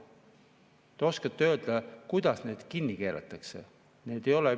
Te oskate öelda, kuidas neid kinni keeratakse?